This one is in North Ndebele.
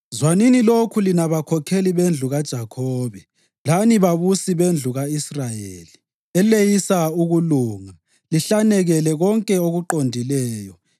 Zwanini lokhu lina bakhokheli bendlu kaJakhobe, lani babusi bendlu ka-Israyeli, eleyisa ukulunga lihlanekele konke okuqondileyo;